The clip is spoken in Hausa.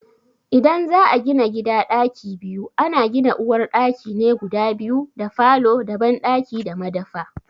idan za a gina gida ɗaki biyu, ana gina uwar ɗaki ne guda biyu da falo da banɗaki da madafa.